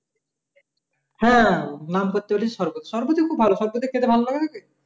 হ্যাঁ নাম করতে পারিস সরবত সরবতি খুব ভালো সরবতি খেতে ভালো লাগে না কি?